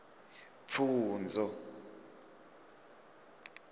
pfunzo